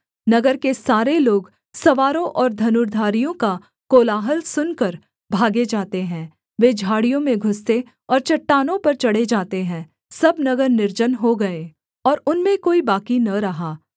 नगर के सारे लोग सवारों और धनुर्धारियों का कोलाहल सुनकर भागे जाते हैं वे झाड़ियों में घुसते और चट्टानों पर चढ़े जाते हैं सब नगर निर्जन हो गए और उनमें कोई बाकी न रहा